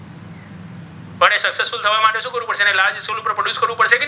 તેને large સ્વરુપે produce કરવુ પડ્શે કે નહી.